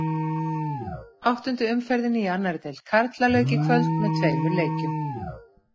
Áttundu umferðinni í annarri deild karla lauk í kvöld með tveimur leikjum.